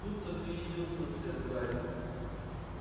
тут-то ты и явился на сцену гарри